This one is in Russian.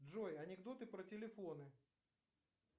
джой анекдоты про телефоны